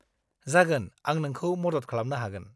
जागोन, आं नोंखौ मदद खालामनो हागोन।